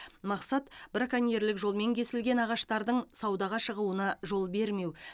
мақсат браконьерлік жолмен кесілген ағаштардың саудаға шығуына жол бермеу